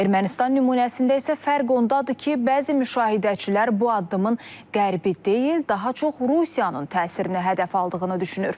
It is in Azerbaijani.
Ermənistan nümunəsində isə fərq ondadır ki, bəzi müşahidəçilər bu addımın qərbi deyil, daha çox Rusiyanın təsirini hədəf aldığını düşünür.